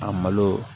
A malo